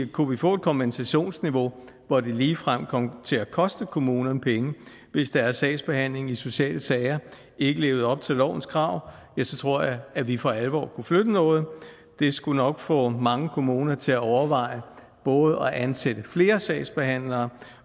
kunne vi få et kompensationsniveau hvor det ligefrem kom til at koste kommunerne penge hvis deres sagsbehandling i sociale sager ikke levede op til lovens krav ja så tror jeg at vi for alvor kunne flytte noget det skulle nok få mange kommuner til at overveje både at ansætte flere sagsbehandlere